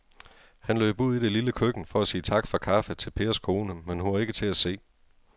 Han løb ud i det lille køkken for at sige tak for kaffe til Pers kone, men hun var ikke til at se.